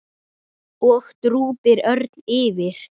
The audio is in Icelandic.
og drúpir örn yfir.